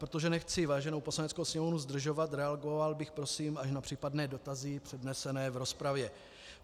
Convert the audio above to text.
Protože nechci váženou Poslaneckou sněmovnu zdržovat, reagoval bych prosím až na případné dotazy přednesené v rozpravě.